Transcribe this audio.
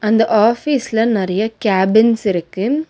அந்த ஆபீஸ்ல நெறைய கேபின்ஸ் இருக்கு.